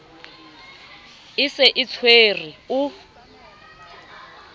e se e tshwere o